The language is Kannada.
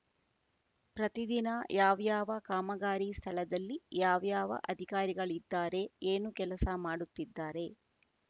ಪ್ರತಿದಿನ ಯಾವ್ಯಾವ ಕಾಮಗಾರಿ ಸ್ಥಳದಲ್ಲಿ ಯಾವ್ಯಾವ ಅಧಿಕಾರಿಗಳಿದ್ದಾರೆ ಏನು ಕೆಲಸ ಮಾಡುತ್ತಿದ್ದಾರೆ